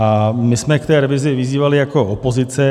A my jsme k té revizi vyzývali jako opozice.